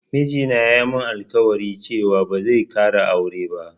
Miji na ya min alƙwari cewa ba zai ƙara aure ba